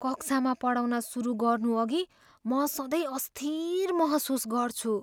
कक्षामा पढाउन सुरु गर्नुअघि म सधैँ अस्थिर महसुस गर्छु।